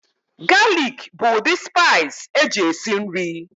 Galik bụ ụdị spaiis eji esi nri.